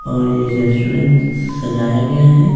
और ये रेस्टोरेंट सजाया गया है --